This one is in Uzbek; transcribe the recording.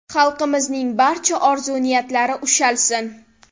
Xalqimizning barcha orzu-niyatlari ushalsin!